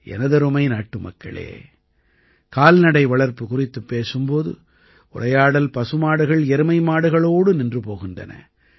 எனதருமை நாட்டுமக்களே கால்நடை வளர்ப்பு குறித்துப் பேசும் போது உரையாடல் பசுமாடுகள்எருமைமாடுகளோடு நின்று போகின்றன